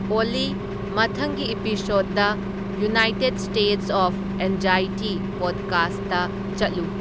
ꯑꯣꯜꯂꯤ ꯃꯊꯪꯒꯤ episode the United States of Anxiety ꯄꯣꯗꯀꯥꯁ꯭ꯠꯗ ꯆꯠꯂꯨ